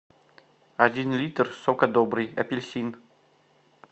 один литр сока добрый апельсин